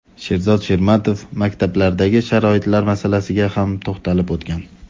Sherzod Shermatov maktablardagi sharoitlar masalasiga ham to‘xtalib o‘tgan.